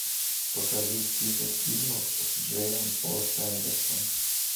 покажи список фильмов с джеем о сэндерсом